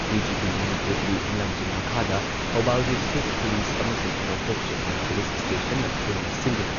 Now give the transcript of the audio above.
DGP ꯃꯅꯤꯄꯨꯔꯒꯤ ꯂꯝꯖꯤꯡ ꯃꯈꯥꯗ ꯊꯧꯕꯥꯜ ꯗꯤꯁꯇ꯭ꯔꯤꯛ ꯄꯨꯂꯤꯁ ꯑꯃꯁꯨꯡ ꯅꯣꯡꯄꯣꯛ ꯁꯦꯛꯃꯥꯏ ꯄꯨꯂꯤꯁ ꯁ꯭ꯇꯦꯁꯟꯅ ꯄꯨꯟꯅ ꯁꯤꯟꯗꯨꯅ